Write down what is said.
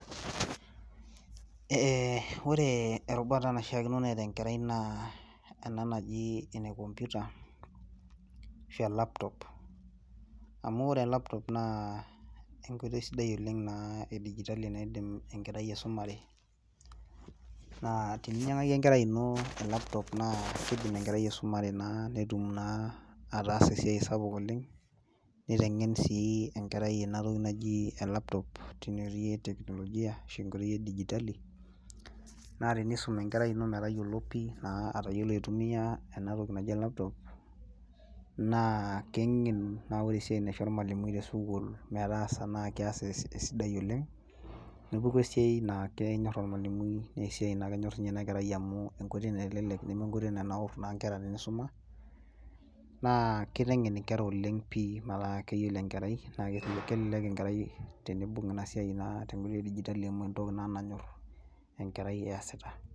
Eeh ore erubata naishiakino neeta enkerai naa ena naji ene computer ashua elaptop amu ore elaptop naa enkoitoi sidai oleng naa edigitali naa indiim enkerai aisumare naa teninyiang'aki enkerai ino elaptop naa keidim enkerai aisumare naa peetum naa ataasa esiai oleng neiteng'en sii enkerai ina toki naji elaptop tine wueji e technologia ashua edigitali naa tenisum enkerai ino mutayiolo pih naa metayiolo aitumiya enewueji naji e laptop naa keng'enu naa ore esiai naisho ormwalimui re school metaasa naa kias esidai oleng nepuku esiai naa kenyor ormwalimui esiai naa kenyor sii ninye ina kerai amu enkoitoi naitelelek amu meenkoitoi naitanaur inkera teneisuma naa keiteng'en enkerai metaa keyiolo enkerai naa kelelek enkerai teneibung ena siai e digitali amu entoki naa nanyor eesita.